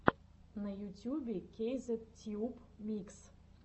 на ютюбе кейзет тьюб микс